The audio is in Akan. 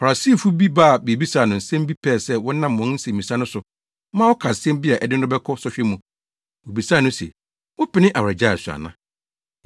Farisifo bi ba bebisaa no nsɛm bi pɛɛ sɛ wɔnam wɔn nsɛmmisa no so ma ɔka asɛm bi a ɛde no bɛkɔ sɔhwɛ mu. Wobisaa no se, “Wopene awaregyae so ana?”